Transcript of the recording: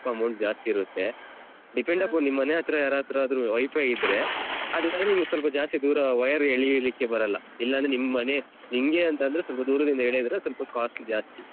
Amount ಜಾಸ್ತಿ ಇರುತ್ತೆ ನಿಮ್ಮನೆ ಹತ್ರ ಯರತ್ರಾದ್ರು WiFi ಇದ್ರೆ ಅದ್ರಿಂದ್ಲೇ ನಿಮ್ಗೆ ಸ್ವಲ್ಪ ಜಾಸ್ತಿ ದೂರ wire ಎಳೀಲಿಕ್ಕೆ ಬರಲ್ಲ ಇಲ್ಲಾಂದ್ರೆ ನಿಮ್ಮನೆ ನಿಮ್ಗೇ ಅಂತಂದ್ರೆ ಸ್ವಲ್ಪ ದೂರದಿಂದ ಎಳೆದ್ರೆ ಸ್ವಲ್ಪ costly ಜಾಸ್ತಿ.